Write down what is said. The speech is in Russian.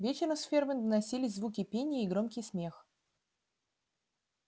вечером с фермы доносились звуки пения и громкий смех